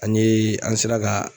An yee an sera ka